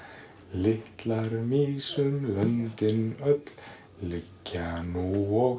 litlar mýs um löndin öll liggja nú og